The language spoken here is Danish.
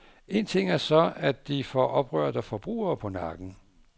En ting er så, at de får oprørte forbrugere på nakken.